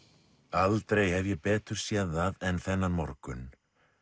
aldrei hef ég betur séð það en þennan morgun